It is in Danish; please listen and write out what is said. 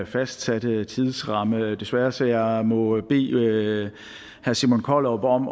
fastsatte tidsramme desværre så jeg må bede herre simon kollerup om